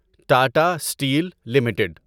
Tata steel limited